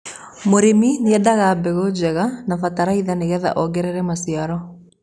mũrĩmi niendaga mbegũ njega na bataraitha nigetha ongerere maciaro